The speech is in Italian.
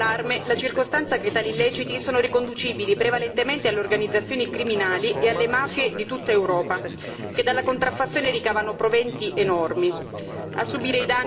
Genera particolare allarme la circostanza che tali illeciti sono riconducibili prevalentemente alle organizzazioni criminali e alle mafie di tutta Europa, che dalla contraffazione ricavano proventi enormi.